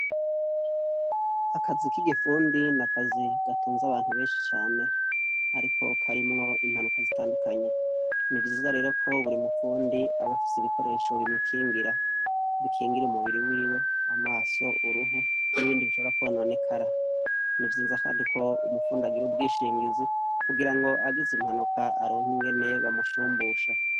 Akazi k'igifundi n’akazi gatunza abantu benshi cane, ariko karimwo impanuka zitandukanye, ni vyiza rero ko buri mupfundi abafise ibikoresho bimukingira bikingira umubiri wiwe amaso uruhu n'ibindi bishorakononekara, nivyizakandi ko umupfundi agira ubwinshingiza kugira ngo agize impanuka aronka ingene bamushumbusha.